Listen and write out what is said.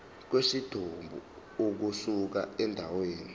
kwesidumbu ukusuka endaweni